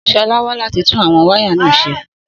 Sọlá wá láti tún àwọn wáyà náà ṣe.